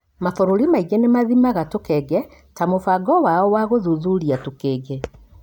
Mabũrũri maingĩ nĩ mathimaga tũkenge ta mũbango wao wa gũthũthuria tũkenge.